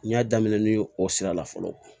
N y'a daminɛ ni o sira la fɔlɔ